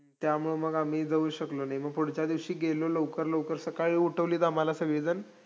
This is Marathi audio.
त्यामुळं आम्ही जाऊ शकलो नाई, मग पुढच्या दिवशी गेलो लवकर लवकर सकाळी उठवलीत आम्हाला सगळी जण,